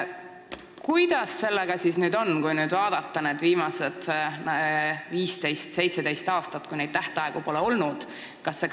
Kuidas sellega siis on, kui vaadata viimaseid 15–17 aastat, kui neid tähtaegu pole olnud?